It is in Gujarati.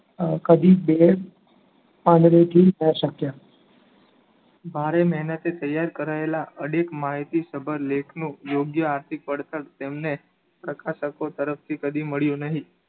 ભારે મહેનતે તૈયાર કરાયેલા અડિગ માહિતી સભર લેખનું યોગ્ય આર્થિક વળતર તેમને તરફથી કદી મળ્યું નહી